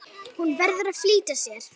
Hún verður að flýta sér.